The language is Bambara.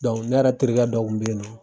ne yɛrɛ terikɛ dɔ kun bɛ ye nɔ.